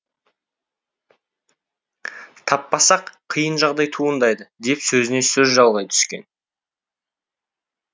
таппасақ қиын жағдай туындайды деп сөзіне сөз жалғай түскен